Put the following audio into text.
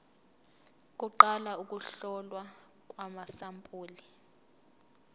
kuqala ukuhlolwa kwamasampuli